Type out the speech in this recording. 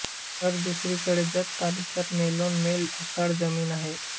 तर दुसरीकडे जत तालुक्यात मैलोनमैल ओसाड जमीन आहे